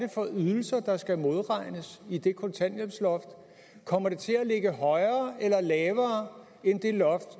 for ydelser der skal modregnes i den kontanthjælp kommer det til at ligge højere eller lavere end det loft